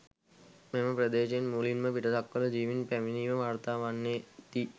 මෙම ප්‍රදේශයෙන් මුලින්ම පිටසක්වළ ජීවීන් පැමිණීම වාර්තා වන්නේ දී.